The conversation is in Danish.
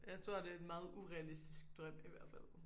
Jeg tror det er en meget urealistisk drøm i hvert fald